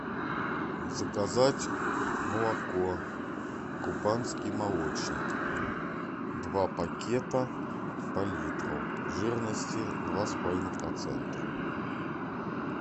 заказать молоко кубанский молочник два пакета по литру жирности два с половиной процента